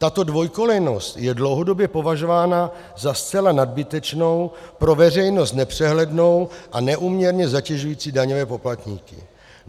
Tato dvojkolejnost je dlouhodobě považována za zcela nadbytečnou, pro veřejnost nepřehlednou a neúměrně zatěžující daňové poplatníky.